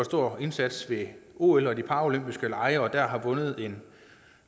stor indsats ved ol og de paralympiske lege og har vundet en